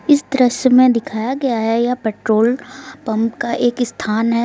इस दृश्य में दिखाया गया है यह पेट्रोल पंप का एक स्थान है।